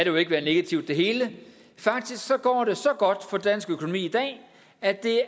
jo ikke være negativt det hele faktisk går det så godt for dansk økonomi i dag at det